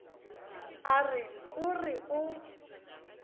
a re o re o